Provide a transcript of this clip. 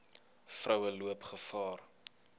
vroue loop gevaar